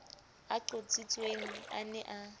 a qotsitsweng a ne a